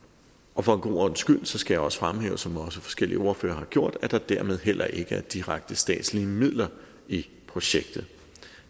og for en god ordens skyld skal jeg også fremhæve som også forskellige ordførere har gjort at der dermed heller ikke er direkte statslige midler i projektet